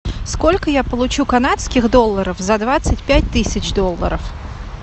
сколько я получу канадских долларов за двадцать пять тысяч долларов